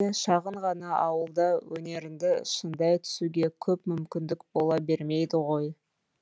әдетте шағын ғана ауылда өнеріңді шыңдай түсуге көп мүмкіндік бола бермейді ғой